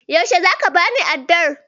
Yaushe zaka bani addar?